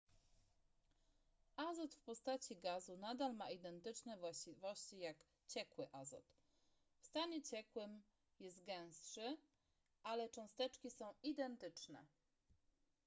azot w postaci gazu nadal ma identyczne właściwości jak ciekły azot w stanie ciekłym jest gęstszy ale cząsteczki są identyczne